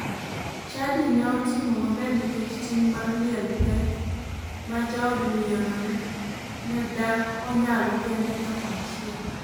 Chadi ne otimo maber nikech ting mar liel pek ma jaod miyono ne dak onyalo kende ng'ato achiel.